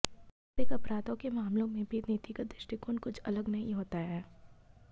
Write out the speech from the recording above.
आर्थिक अपराधों के मामलों में भी नीतिगत दृष्टिकोण कुछ अलग नहीं होता है